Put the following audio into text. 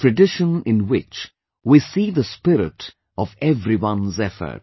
A tradition in which we see the spirit of everyone's effort